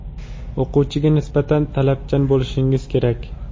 o‘quvchiga nisbatan talabchan bo‘lishingiz kerak.